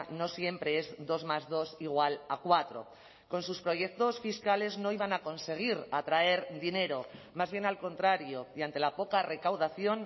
no siempre es dos más dos igual a cuatro con sus proyectos fiscales no iban a conseguir atraer dinero más bien al contrario y ante la poca recaudación